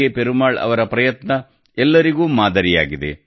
ಪೆರುಮಾಳ್ ಅವರ ಪ್ರಯತ್ನ ಎಲ್ಲರಿಗೂ ಮಾದರಿಯಾಗಿದೆ